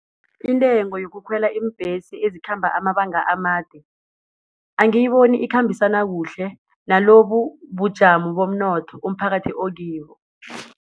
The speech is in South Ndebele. Intengo yokukhwela iimbhesi ezikhamba amabanga amade, angiyiboni ikhambisana kuhle nalobubujamo bomnotho umphakathi okibo.